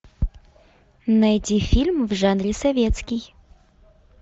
найти фильм в жанре советский